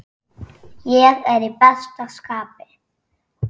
Ég er í besta skapi.